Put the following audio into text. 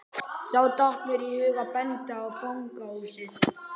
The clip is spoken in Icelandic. Þá datt mér í hug að benda á fangahúsið.